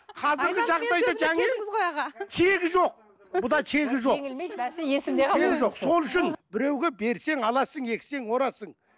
сол үшін біреуге берсең аласың ексең орасың